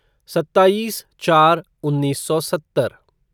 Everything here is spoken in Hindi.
सत्ताईस चार उन्नीस सौ सत्तर